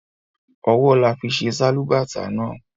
Ọwọ là fi ṣe Sálúbàtà náà